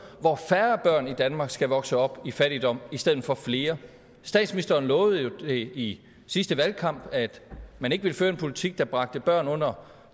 hvor færre børn i danmark skal vokse op i fattigdom i stedet for flere statsministeren lovede jo i sidste valgkamp at man ikke ville føre en politik der bragte børn under